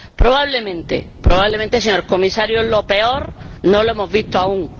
Probablemente, Señor Comisario, lo peor no lo hemos visto aún.